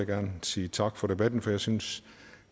gerne sige tak for debatten for jeg syntes